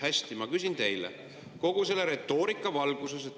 Hästi, ma küsin teilt kogu selle retoorika valguses.